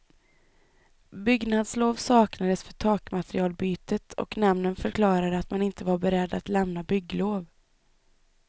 Byggnadslov saknades för takmaterialbytet och nämnden förklarade att man inte var beredd att lämna bygglov.